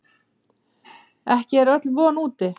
En ekki er öll von úti.